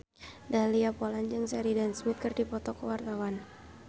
Dahlia Poland jeung Sheridan Smith keur dipoto ku wartawan